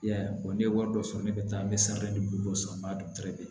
I y'a ye ne ye wari dɔ sɔrɔ ne bɛ taa n bɛ san duuru dɔ san batɛrɛn